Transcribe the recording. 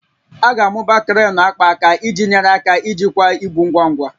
A ga-amụba kreenụ akpaaka iji nyere aka ijikwa ibu ngwa ngwa